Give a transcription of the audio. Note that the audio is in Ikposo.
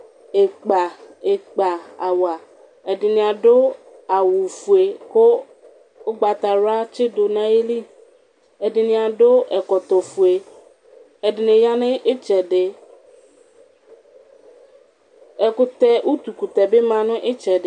Ilpaawa, ɛdini adʋ awʋfue kʋ ʋgbatawla atsidʋ nʋ ayili Ɛdini adʋ ɛkɔtɔfue ɛdini yanʋ itsɛdi, utukʋtɛbbi manʋ itsɛdi